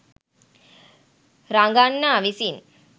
රඟන්නා විසින්